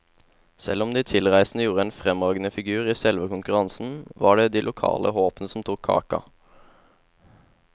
Selv om de tilreisende gjorde en fremragende figur i selve konkurransen, var det de lokale håpene som tok kaka.